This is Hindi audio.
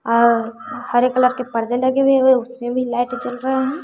और हरे कलर के पर्दे लगे हुए हैं उसमें भी लाइट जल रहे हैं।